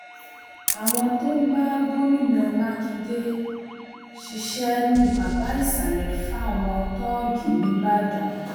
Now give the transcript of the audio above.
àwọn tó ń bá gómìnà mákindè ṣiṣẹ ní baba ìsàlẹ fáwọn tóògì nìbàdàn